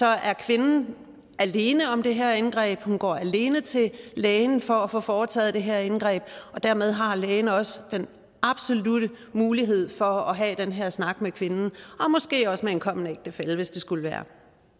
er kvinden alene om det her indgreb og hun går alene til lægen for at få foretaget det her indgreb og dermed har lægen også den absolutte mulighed for at have den her snak med kvinden og måske også med en kommende ægtefælle hvis det skulle være